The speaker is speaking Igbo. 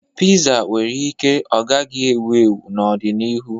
Piza nwere ike ọ gaghị ewu ewu n'ọdịnihu.